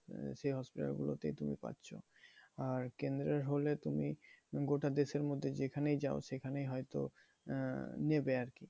সেই hospital গুলো তেই তুমি পাচ্ছো। আর কেন্দ্রের হলে তুমি গোটা দেশের মধ্যে যেখানেই যাও সেখানেই হয়তো আহ নেবে আরকি।